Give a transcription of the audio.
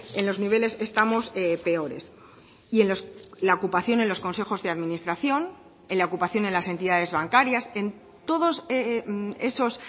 en los niveles estamos peores y en la ocupación en los consejos de administración en la ocupación en las entidades bancarias en todos esos